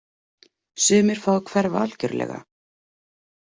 Sumir fá að hverfa algjörlega.